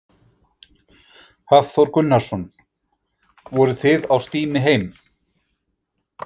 Hafþór Gunnarsson: Voruð þið á stími heim?